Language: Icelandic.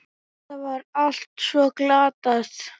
Þetta var allt svo glatað.